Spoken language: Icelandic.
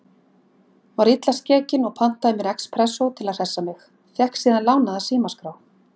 Var illa skekin og pantaði mér expressó til að hressa mig, fékk síðan lánaða símaskrá.